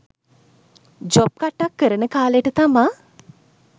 job කට්ටක් කරන කාලෙට තමා